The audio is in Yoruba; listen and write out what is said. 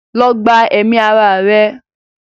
go and commit suicide!